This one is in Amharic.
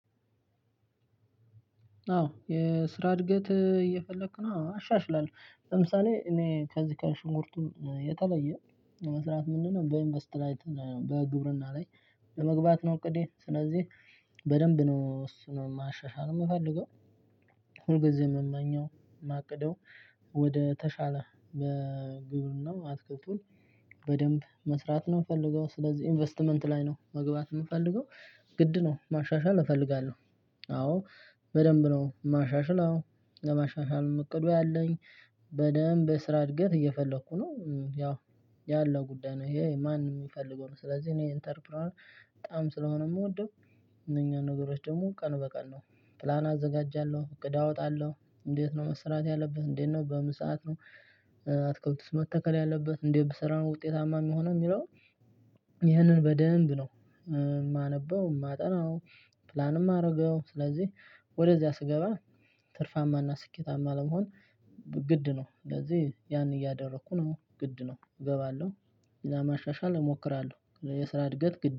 አዎ የስራ እድገት እየፈለኩ ነው። አዎ አሻሽላለሁ ለምሳሌ እኔ ከዚህ ከሽንኩርቱ የተለየ መስራት ምንድነው? በኢንቨስት ላይ በግብርና ላይ ለመግባት ነው። እቅዴ ስለዚህ በደንብ ነው እሱን ማሻሻል የምፈልገው። ሁልጊዜም የምመኘው የማቅደው ወደ ተሻለ በግብርና ማትረፉን በደንብ መስራት ነው የምፈልገው ስለዚህ ኢንቨስትመንት ላይ ነው መግባት የምፈልገው። ግድ ነው ማሻሻል እፈልጋለሁ። አዎ በደንብ ነው የማሻሽለው ለማሻሻልም እቅዱ አለኝ። በደንብ ስራ እድገት እየፈለኩ ነው ያው ያለው ጉዳይ ነው። ይሄ ማንም የሚፈልገው ነው። ስለዚህ እኔ ኢንተርፕረነር በጣም ስለሆነ የምወደው። እነኛን ነገሮች ደግሞ ቀን በቀን ነው ፕላን አዘጋጃለሁ እቅድ አወጣለሁ። እንዴት ነው መሰራት ያለበት እንዴት ነው በምን ሰዓት ነው? አትክልትስ መተከል ያለበት እንዴት ብሰራ ነው ውጤታማ የሚሆነው የሚለው። ይህንን በደንብ ነው የማነበው የማጠናው። ፕላንም የማደርገው ስለዚህ ወደዚያ ስገባ ትርፋማና ስኬታማ ለመሆን ግድ ነው። ስለዚህ ያን እያደረኩ ነው ግድ ነው እገባለሁ። ለማሻሻል እሞክራለሁ የስራ እድገት ግድ